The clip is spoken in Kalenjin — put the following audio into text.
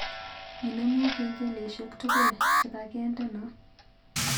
Inemu kengeleshek tugul chegagendeno